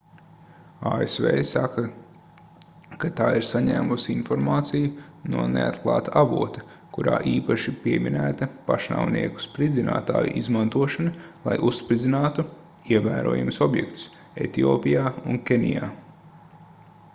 asv saka ka tā ir saņēmusi informāciju no neatklāta avota kurā īpaši pieminēta pašnāvnieku spridzinātāju izmantošana lai uzspridzinātu ievērojamus objektus etiopijā un kenijā